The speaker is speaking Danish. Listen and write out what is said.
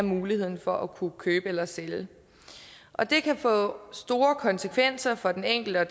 muligheden for at kunne købe eller sælge og det kan få store konsekvenser for den enkelte og